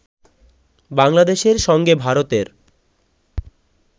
বাংলাদেশের সঙ্গে ভারতের